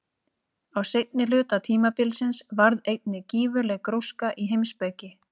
Á seinni hluta tímabilsins varð einnig gífurleg gróska í heimspeki.